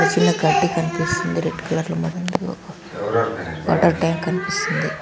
చిన్నగా కంటికి కనిపిస్తుంది. రెడ్ కలర్ వాటర్ టాంక్ కనిపిస్తుంది.